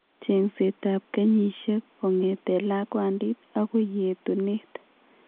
Cheng'seet ab kenyisiek kong'eteen lakwandit akoi yeetuneet